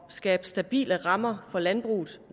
skabe stabile rammer for landbruget